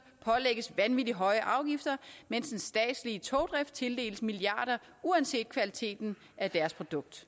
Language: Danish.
pålægges vanvittige høje afgifter mens den statslige togdrift tildeles milliarder uanset kvaliteten af deres produkt